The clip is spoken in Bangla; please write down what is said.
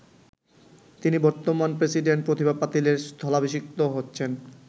তিনি বর্তমান প্রেসিডেন্ট প্রতিভা পাতিলের স্থলাভিষিক্ত হচ্ছেন।